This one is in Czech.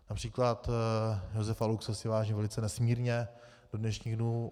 Například Josefa Luxe si vážím velice nesmírně do dnešních dnů.